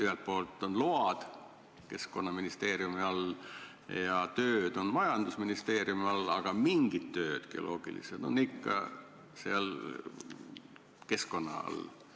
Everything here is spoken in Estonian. Ühelt poolt on load Keskkonnaministeeriumi all ja tööd on majandusministeeriumi all, aga mingid geoloogilised tööd jäävad ikka Keskkonnaministeeriumi alla.